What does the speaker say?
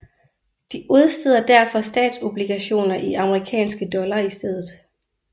De udsteder derfor statsobligationer i amerikanske dollar i stedet